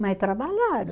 Mas trabalharam.